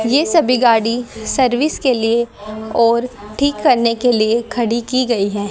ये सभी गाड़ी सर्विस के लिए और ठीक करने के लिए खड़ी की गई है।